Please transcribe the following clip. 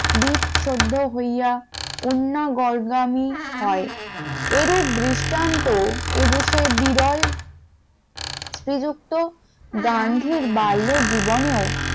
বিদশুদ্ধ হইয়া অন্য গন্যামি হয় এরূপ দৃষ্টান্ত এ দেশে বিরল শ্রীযুক্ত গান্ধীর বাল্য জীবনেও